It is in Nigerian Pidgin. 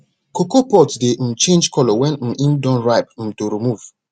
cocoa pods dey um change colour wen um im don ripe um to remove